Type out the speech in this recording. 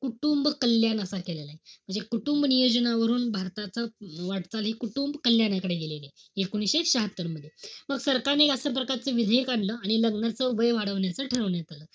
कुटुंबकल्याण असा केलेलाय. म्हणजे कुटुंब नियोजनावरून भारताचा वाटचाल हि कुटुंब कल्याणकडे गेलेलीय. एकोणीशे शहात्तर मध्ये. मग सरकारने अशा प्रकारचा विधेयक आणलं. आणि लग्नाचं वय वाढवण्याचा ठरवण्यात आलं.